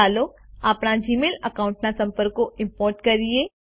ચાલો આપણા Gmail account ના સંપર્કો ઈમ્પોર્ટ કરીએ